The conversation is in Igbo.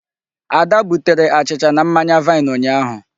Ada butere achịcha na mmanya vine ụnyaahụ.